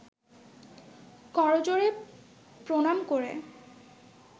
করজোড়ে প্রণাম করে